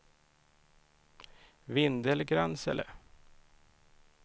Vindelgransele